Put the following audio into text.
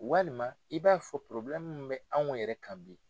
Walima i b'a fɔ min bɛ anw yɛrɛ kan bi.